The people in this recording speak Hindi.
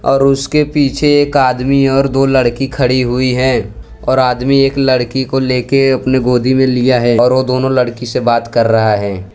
और उसके पीछे एक आदमी और दो लड़की खड़ी हुई है और आदमी एक लड़की को लेके अपने गोदी में लिया है और वो दोनों लड़की से बात कर रहा है।